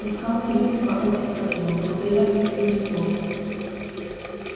искал средство от как его плотоядных слизняков